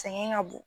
Sɛŋɛn ŋa bon